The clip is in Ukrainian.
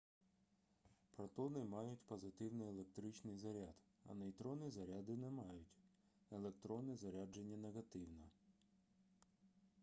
протони мають позитивний електричний заряд а нейтрони заряду не мають електрони заряджені негативно